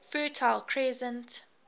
fertile crescent